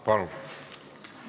Palun!